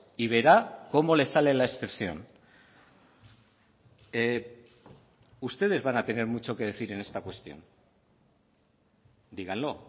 y verá como le sale la excepción ustedes van a tener mucho que decir en esta cuestión díganlo